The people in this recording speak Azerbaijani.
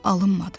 Alınmadı.